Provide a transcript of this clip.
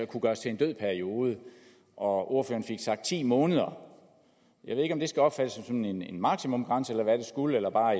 kunne gøres til en død periode ordføreren fik sagt ti måneder jeg ved ikke om det skal opfattes som en en maksimumsgrænse eller hvad det skulle eller bare